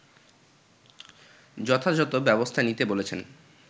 যথাযথ ব্যবস্থা নিতে বলেছেন